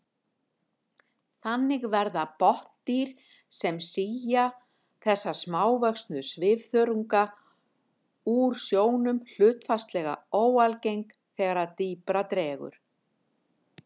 Þannig verða botndýr sem sía þessa smávöxnu svifþörunga úr sjónum hlutfallslega óalgeng þegar dýpra dregur.